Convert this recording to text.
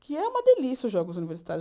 Que é uma delícia os jogos universitários.